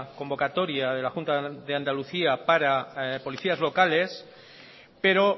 convocatoria de la junta de andalucía para policías locales pero